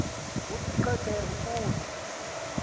kuthi qheke ukusa